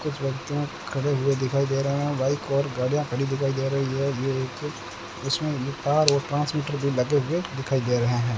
कुछ व्यक्तियों खड़े हुए दिखाई दे रहे हैं बाइक और गाड़ियां खड़ी दिखाई दे रही है ये एक उसमें तार व ट्रांसमीटर भी लगे हुए दिखाई दे रहे हैं।